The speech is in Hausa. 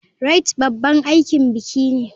Rite babban aikin biki ne.